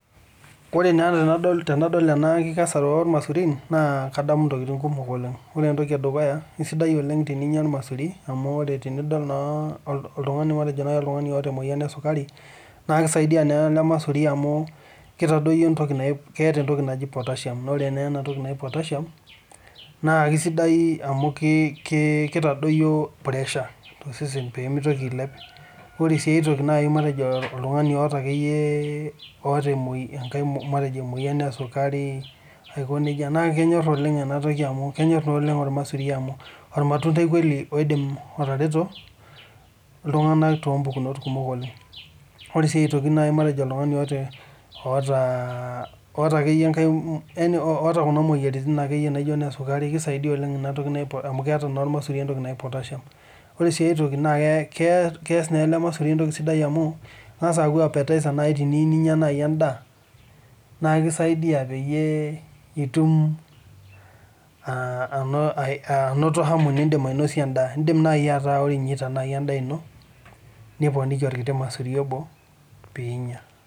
When I see this harvesting of bananas I remember many things the first thing is it is so good to eat bananas because when you see someone who is diabetic banana will help because it has potassium that helps to reduce pressure and other diseases this bananas will help so much because it is a fruit that can help people in different ways it is also help because it acts as an appetiser when you want to eat food so when you are eating your food you can add a banana so that you can eat.